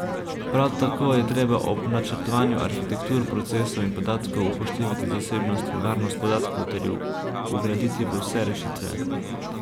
Prav tako je treba ob načrtovanju arhitektur, procesov in podatkov upoštevati zasebnost in varnost podatkov ter ju vgraditi v vse rešitve.